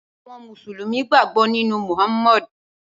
Awòn músúlùmí gbágbò ninú Muhammad